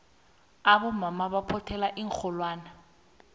abomama baphothela iinxholwane